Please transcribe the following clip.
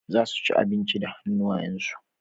Za su ci abinci da hannuwansu.